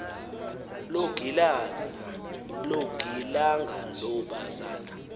longilanga lo bazana